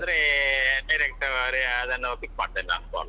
ಇಲ್ಲದ್ರೆ direct ಅದನ್ನು pick ಮಾಡ್ತೇನೆ ನಾನು call .